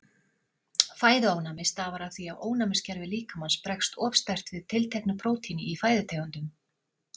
Fæðuofnæmi stafar af því að ónæmiskerfi líkamans bregst of sterkt við tilteknu prótíni í fæðutegundunum.